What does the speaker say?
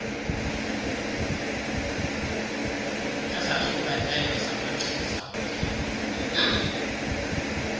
ezahlukeneyo zamachiza onyango